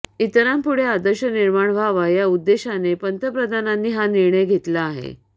इतरांपुढे आदर्श निर्माण व्हावा या उद्देशाने पंतप्रधानांनी हा निर्णय घेतला आहे